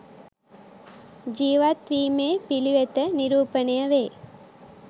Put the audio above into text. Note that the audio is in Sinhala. ජීවත් වීමේ පිළිවෙත නිරූපණය වේ